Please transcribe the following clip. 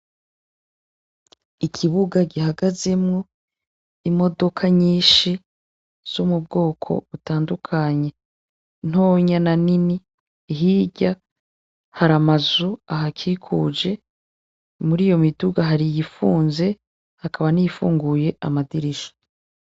Ikibuga gihagazemwo imodoka nyinshi zo m'ubwoko butandukanye, ntonya na nini hirya har'amazu ahakikuje, mur'iyo miduga har'iyifunze hakaba niyifunguye amadirisha.